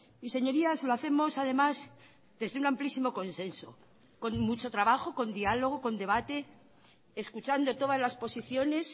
y señorías lo hacemos además desde un amplísimo consenso con mucho trabajo con diálogo con debate escuchando todas las posiciones